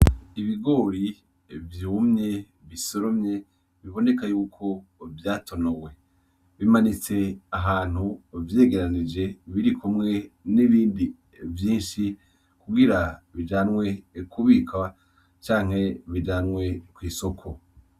Ibigori vyumye bisoromye biboneka yuko vyatonowe bimanitse ahantu vyegeranize birikumwe n'ibindi vyishi kugira bijanwe kubikwa canke bijanwe ku isoko.